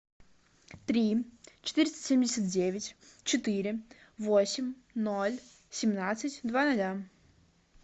три четыреста семьдесят девять четыре восемь ноль семнадцать два ноля